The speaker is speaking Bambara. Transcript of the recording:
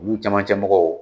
U camancɛ mɔgɔw